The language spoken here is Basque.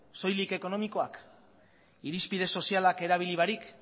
soilik ekonomikoak irizpide sozialak erabili barik